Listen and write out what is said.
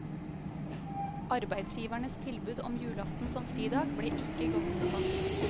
Arbeidsgivernes tilbud om julaften som fridag ble ikke godt mottatt.